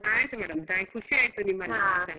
ಆಯ್ತು madam thank you ಖುಷಿ ಆಯ್ತು ನಿಮ್ಮಲ್ಲಿ ಮಾತಾಡಿ.